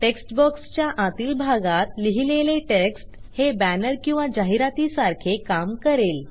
text बॉक्सच्या आतील भागात लिहिलेले टेक्स्ट हे बॅनर किंवा जाहिरातीसारखे काम करेल